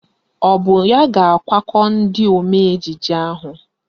Ọ bụ ya ga-akwakọ ndị omee ejije ahụ?